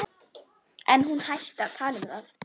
En hún hætti að tala um það.